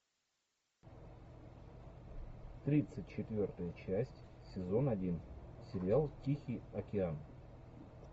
тридцать четвертая часть сезон один сериал тихий океан